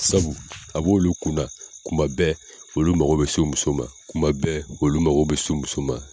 Sabu a bɛ olu kunna kuma bɛɛ olu mago bɛ se muso ma kuma bɛɛ olu mago bɛ se muso ma.